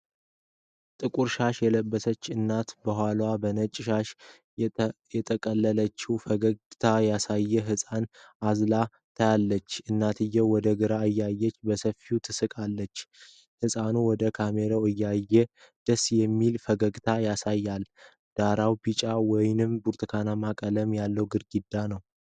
ጥቁር ሻሽ የለበሰች እናት ከኋላዋ በነጭ ሻሽ የጠቀለለችውን ፈገግታ ያሳየ ህጻን አዝላ ታያለች። እናትየው ወደ ግራ እያየች በሰፊው ትስቃለች። ህፃኑ ወደ ካሜራው እያየ ደስ የሚል ፈገግታ ያሳያል። ዳራው ቢጫ ወይም ብርቱካንማ ቀለም ያለው ግድግዳ ነው።